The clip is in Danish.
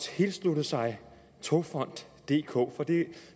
tilslutte sig togfonden dk for